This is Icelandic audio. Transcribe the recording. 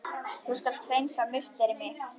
Þú skalt hreinsa musteri mitt!